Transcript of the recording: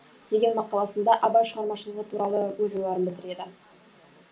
мақаласында абай шығармашылығы туралы өз ойларын білдіреді